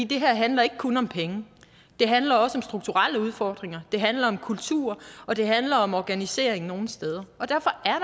det her handler ikke kun om penge det handler også om strukturelle udfordringer det handler om kultur og det handler om organiseringen nogle steder derfor er